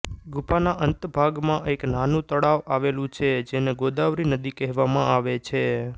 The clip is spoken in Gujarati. ગુફાના અંતભાગમાં એક નાનું તળાવ આવેલું છે જેને ગોદાવરી નદી કહેવામાં આવે છે